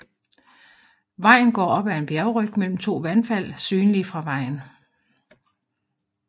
Vejen går opad en bjergryg mellem to vandfald synlige fra vejen